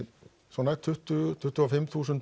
svona tuttugu til tuttugu og fimm þúsund